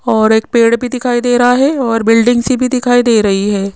और एक पेड़ भी दिखाई दे रहा है और बिल्डिंग सी भी दिखाई दे रही है।